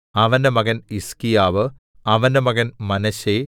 അവന്റെ മകൻ ഹിസ്കീയാവ് അവന്റെ മകൻ മനശ്ശെ